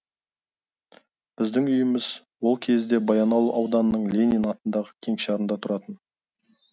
біздің үйіміз ол кезде баянауыл ауданының ленин атындағы кеңшарында тұратын